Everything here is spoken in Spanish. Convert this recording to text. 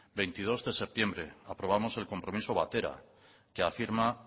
veintidos de septiembre aprobamos el compromiso batera que afirma